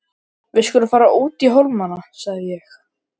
Við skulum fara út í hólmana, sagði ég.